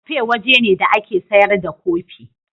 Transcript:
Kafe waje ne da ake sayar da kofi.